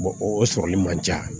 o sɔrɔli man ca